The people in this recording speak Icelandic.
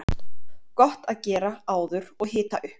Gott að gera áður og hita upp.